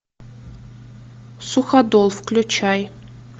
суходол включай